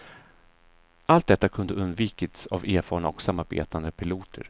Allt detta kunde undvikits av erfarna och samarbetande piloter.